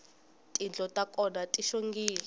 tindlo ta kona ti xongile